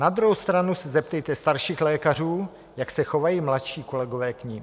Na druhou stranu se zeptejte starších lékařů, jak se chovají mladší kolegové k nim.